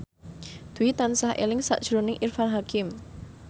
Dwi tansah eling sakjroning Irfan Hakim